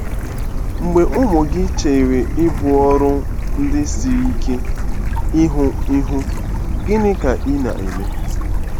Mgbe ụmụ gị chere ibu ọrụ ndị siri ike ihu ihu, gịnị ka ị na-eme?